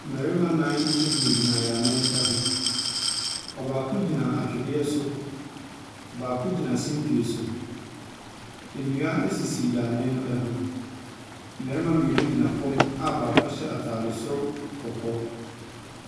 Mmarima nnan gyinagyina yaanee ho. Ↄbaako gyina atwedeɛ so, baako gyina simpie so. Nnua sisi yaanee no ho. Mmarima mmienu gyina fam a baako ahyɛ ataade soro kɔkɔɔ.